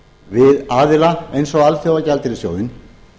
við aðila eins og alþjóðagjaldeyrissjóðinn